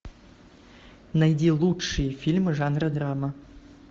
найди лучшие фильмы жанра драма